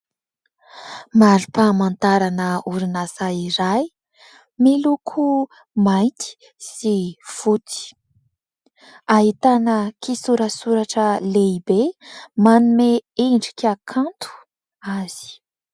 Marim-pahamantarana orinasa iray; miloko mainty sy fotsy; ahitana kisorasoratra lehibe manome endrika kanto azy.